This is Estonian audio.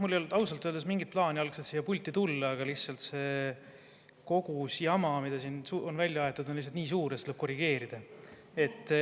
Mul ei olnud algselt ausalt öeldes mingit plaani siia pulti tulla, aga lihtsalt see kogus jama, mida siin välja aeti, on nii suur, et seda tuleb korrigeerida.